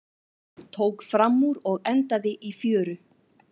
Tók framúr og endaði í fjöru